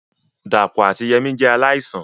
Dàpọ̀ àti Yemí jẹ́ aláìsàn